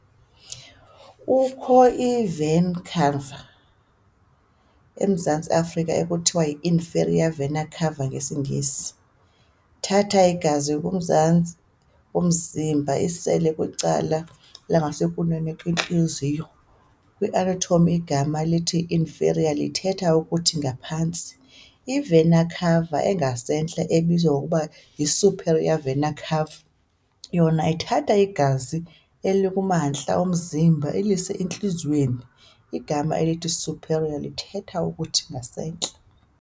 Kukho i-"vena cava" eMzantsi Afrika, ekuthiwa yiinferior vena cava ngesiNgesi, nethatha igazi kumzantsi omzimba ilise kwicala elingasekunene kwentliziyo. , kwi-anatomy, igama elithi inferior lithetha ukuthi ngaphantsi, I-"vena cava" engasentla, ebizwa ngokuba yi-superior vena-cava, yona ithatha igazi elikumantla omzimba ilise entliziyweni., igama elithi superior lithetha ukuthi ngasentla.